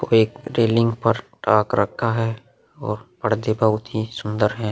एक रेलिंग पर टाक रक्खा है और बहोत ही सुन्दर हैं।